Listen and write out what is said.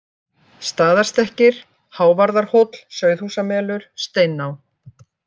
Staðarstekkir, Hávarðarhóll, Sauðahúsmelur, Steiná